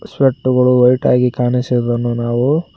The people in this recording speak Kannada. ಸ್ಪೆಟ್ಟುಗಳು ವೈಟ್ ಆಗಿ ಕಾಣಿಸಿದ್ದನ್ನು ನಾವು--